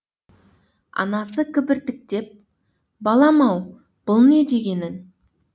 анасы кібіртіктеп балам ау бұл не дегенің